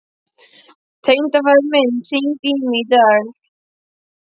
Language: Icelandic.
Tengdafaðir minn hringdi í mig í dag.